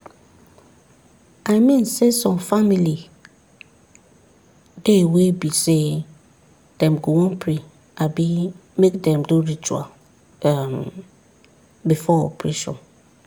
i mean saysome family dey wey be say dem go wan pray abi make dem do ritual um before operation.